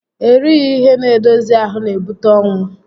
Erighi ihe n'edozi ahụ n'ebute ọnwụ